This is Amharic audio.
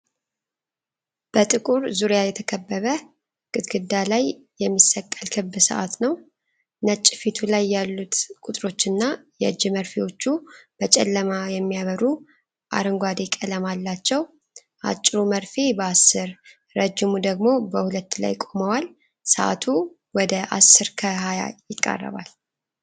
በጥቁር ዙሪያ የተከበበ ግድግዳ ላይ የሚሰቀል ክብ ሰዓት ነው። ነጭ ፊቱ ላይ ያሉት ቁጥሮችና የእጅ መርፌዎቹ በጨለማ የሚያበሩ አረንጓዴ ቀለም አላቸው። አጭሩ መርፌ በ10፣ ረጅሙ ደግሞ በ2 ላይ ቆመዋል፤ ሰዓቱ ወደ 10፡20 ይቃረባል።